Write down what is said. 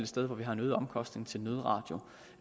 sted hvor vi har en øget omkostning til nødradio